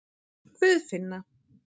Guðfinna